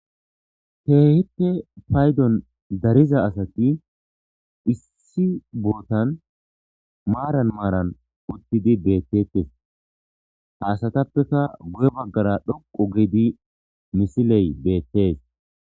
keehite paydon dariza asati issi bootan maaran maaran uttidi beettettes haasatappeka guye baggara dhoqu gedi misiley beettes